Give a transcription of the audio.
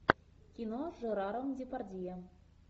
кино с жераром депардье